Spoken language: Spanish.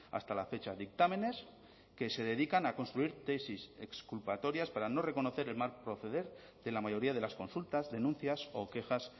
hasta la fecha dictámenes que se dedican a construir tesis exculpatorias para no reconocer el mal proceder de la mayoría de las consultas denuncias o quejas